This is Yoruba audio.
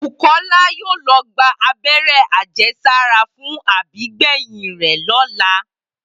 Bùkó̩lá yóò lo̩ gba abé̩ré̩ àje̩sára fún àbígbè̩yìn rè̩ ló̩la